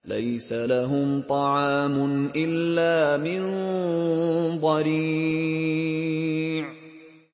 لَّيْسَ لَهُمْ طَعَامٌ إِلَّا مِن ضَرِيعٍ